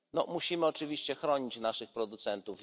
Musimy oczywiście chronić naszych producentów.